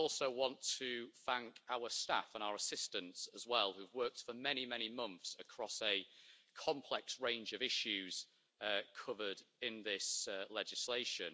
I would also want to thank our staff and our assistants as well who have worked for many, many months across the complex range of issues covered in this legislation.